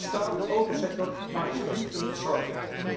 De staal en autosector maken zich niet voor niets zorgen.